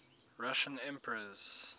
russian emperors